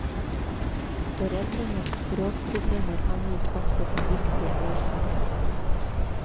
Foreldrenes språkproblemer angis ofte som viktige årsaker.